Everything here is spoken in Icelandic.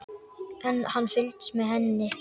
En hann fylgist með henni.